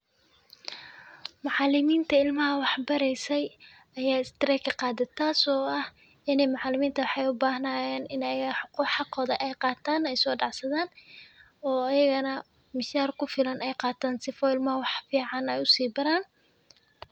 Macaliminta ilmaha wax bareysay ayaa strike qaaday taas oo ah ini macaliminta waxey u baahnayeen ay xaqooda ay qataan ay soo dhacsadaan oo ayagana mishaar ku filan ay qataan sifiican .